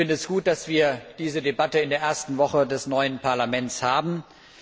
Ich finde es gut, dass wir diese Debatte in der ersten Woche des neuen Parlaments führen.